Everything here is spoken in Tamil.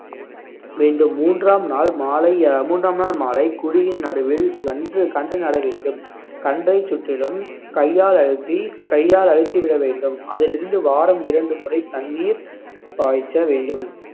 வேண்டும் மூன்றாம் நாள் மாலை அஹ் மூன்றாம் நாள் மாலை குழியின் நடுவில் வன்று கண்டு நட வேண்டும் கண்டைச் சுற்றிலும் கையால் அழுத்தி கையால் அழுத்திவிட வேண்டும் அதிலிருந்து வாரம் இரண்டு முறை தண்ணீர் பாய்ச்ச வேண்டும்